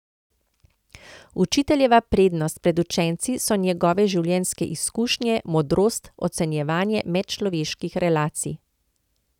Učiteljeva prednost pred učenci so njegove življenjske izkušnje, modrost, ocenjevanje medčloveških relacij.